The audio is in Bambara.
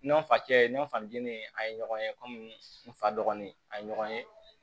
Nɔnɔ fakɛ nɔnnen an ye ɲɔgɔn ye komi n fa dɔgɔnin a ye ɲɔgɔn ye